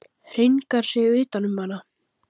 Hringar sig utan um hana.